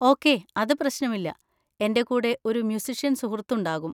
Okay, അത് പ്രശ്നമില്ല. എൻ്റെ കൂടെ ഒരു മ്യുസിഷ്യൻ സുഹൃത്ത് ഉണ്ടാകും.